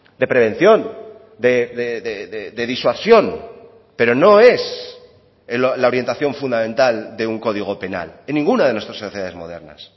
de prevención de disuasión pero no es la orientación fundamental de un código penal en ninguna de nuestras sociedades modernas